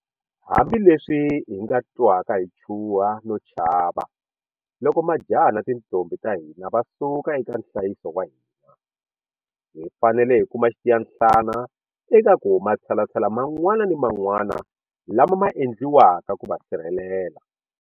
Hambileswi hi nga twaka hi chuha no chava loko majaha na tintombhi ta hina va suka eka nhlayiso wa hina, hi fanele hi kuma xitiyanhlana eka ku matshalatshala man'wana ni man'wana lama ma endliwaka ku va sirhelela.